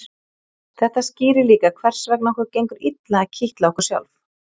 Þetta skýrir líka hvers vegna okkur gengur illa að kitla okkur sjálf.